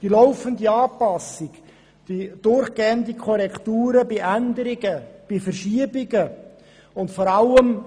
Die laufenden Anpassungen bei Änderungen und Verschiebungen fehlen.